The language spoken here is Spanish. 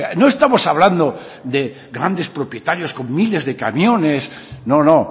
no estamos hablando de grandes propietarios con miles de camiones no no